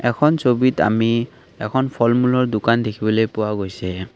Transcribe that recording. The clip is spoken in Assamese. এখন ছবিত আমি এখন ফল মূলৰ দোকান দেখিবলৈ পোৱা গৈছে।